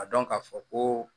A dɔn ka fɔ koo